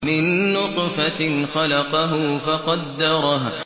مِن نُّطْفَةٍ خَلَقَهُ فَقَدَّرَهُ